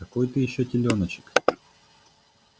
какой ты ещё телёночек